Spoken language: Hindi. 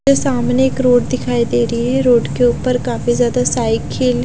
वो सामने एक रोड दिखाई दे रही है रोड के ऊपर काफी ज्यादा साइकिल --